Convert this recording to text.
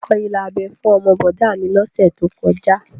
Wọ́n kọ ilà abẹ́ fún ọmọ bọ̀dá a mi lọ́sẹ̀ tó kọjá